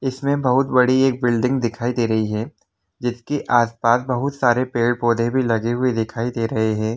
इसमे एक बहुत बडी एक बिल्डिंग दिकाई दे रही हैं जिस की आस पास बहुत सारे पेड़ पौधे भी लगे हुए दिखाई दे रहे हैं ।